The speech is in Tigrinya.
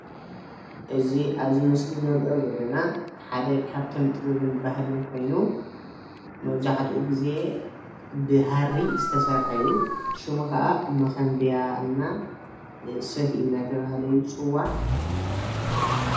እዚ አብዚ ምስሊ እንሪኦ ዘለና ሓደ ካብቲ ጥበብን ባህልን ኮይኑ መብዛሕቲኡ ግዜ ብሃሪ ዝተሰርሐ እዩ። ሽሙ ኸዓ ሞኾንብያ ና ሰፍኢ እናተባሀለ ይፅዋዕ፡፡